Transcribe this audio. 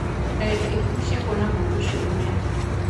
Ndagĩka ikũmii cia kuona mũndũ ũcio mũnene.